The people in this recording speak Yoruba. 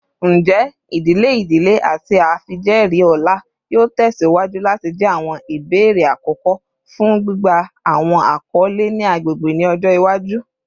Njẹ idile idile ati awọn afijẹẹri ọlá yoo tẹsiwaju lati jẹ awọn ibeere akọkọ fun gbigba awọn akọle ni agbegbe ni ọjọ iwaju?